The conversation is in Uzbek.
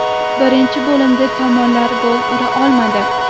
Birinchi bo‘limda tomonlar gol ura olmadi.